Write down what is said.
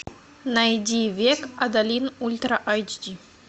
найди век адалин ультра айч ди